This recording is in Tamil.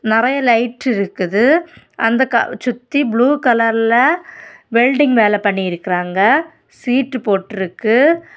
நெறைய லைட் இருக்குது அந்தகா சுத்தி ப்ளூ கலர்ல வெல்டிங் வேலை பண்ணியிருக்குராங்க சீட்டு போட்ருக்கு.